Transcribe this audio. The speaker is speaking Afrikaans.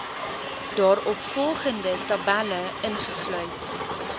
daaropvolgende tabelle ingesluit